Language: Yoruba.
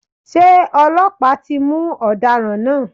Ṣé ọlọ́pàá ti mú ọ̀daràn náà?